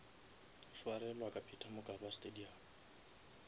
swarelwa ka peter mokaba stadium